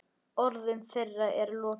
Orðum þeirra er lokið.